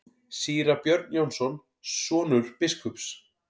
Síra Björn Jónsson, sonur biskups.